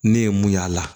Ne ye mun y'a la